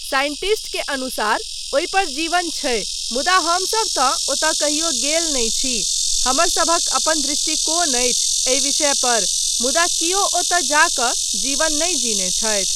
Scientist के अनुसार ओहि पर जीवन छै मुदा हमसब तँ ओतय कहियो गेल नहि छी, हमरसभक अपन दृष्टिकोण अछि एहि विषय पर मुदा कियो ओतय जा कऽ जीवन नहि जीने छथि।